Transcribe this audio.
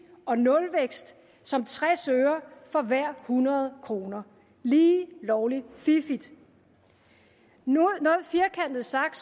og nulvækst som tres øre for hver hundrede kroner lige lovlig fiffigt noget firkantet sagt